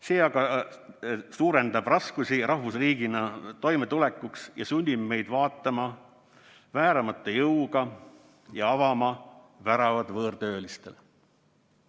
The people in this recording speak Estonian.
See aga suurendab raskusi rahvusriigina toimetulekul ja sunnib meid vääramatu jõuga avama väravaid võõrtöölistele.